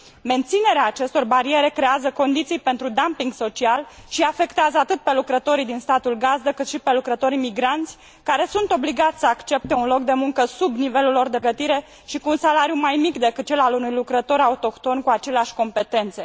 Menținerea acestor bariere creează condiții pentru dumpingul social și îi afectează atât pe lucrătorii din statul gazdă cât și pe lucrătorii migranți, care sunt obligați să accepte un loc de muncă sub nivelul lor de pregătire și cu salariu mai mic decât cel al unui lucrător autohton cu aceleași competențe.